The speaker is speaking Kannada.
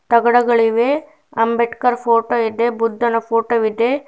ತಗಡಗಳಿವೆ ಅಂಬೇಡ್ಕರ್ ಫೋಟೋ ವಿದೆ ಬುದ್ಧನ ಫೋಟೋ ವಿದೆ.